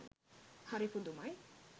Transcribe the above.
හරි පුදුමයි